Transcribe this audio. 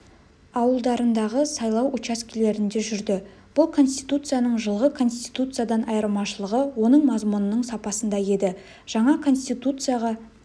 ауылдарындағы сайлау учаскелерінде жүрді бұл конституцияның жылғы конституциядан айырмашылығы оның мазмұнының сапасында еді жаңа конституцияға